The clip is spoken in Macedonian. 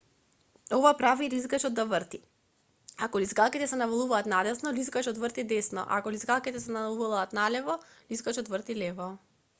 ова прави лизгачот да врти ако лизгалките се навалуваат надесно лизгачот врти десно а ако лизгалките се навалуваат налево лизгачот врти лево